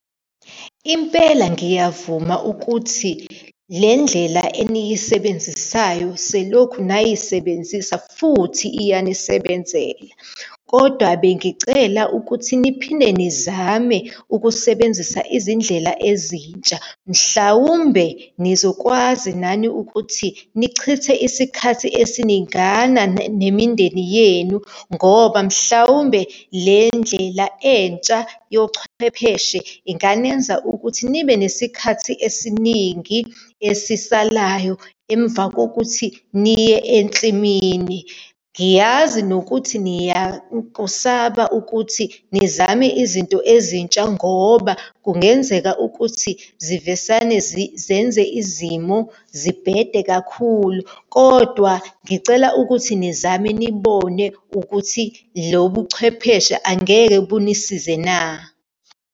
Impela ngiyavuma ukuthi le ndlela eniyisebenzisayo selokhu nayisebenzisa futhi iyanisebenzela, kodwa bengicela ukuthi niphinde nizame ukusebenzisa izindlela ezintsha. Mhlawumbe nizokwazi nani ukuthi nichithe isikhathi esiningana nemindeni yenu ngoba mhlawumbe le ndlela entsha yochwepheshe inganenza ukuthi nibe nesikhathi esiningi esisalayo emva kokuthi niye ensimini. Ngiyazi nokuthi niyakusaba ukuthi nizame izinto ezintsha ngoba kungenzeka ukuthi zivesane zenze izimo zibhede kakhulu. Kodwa ngicela ukuthi nizame, nibone ukuthi lo buchwepheshe angeke bunisize na.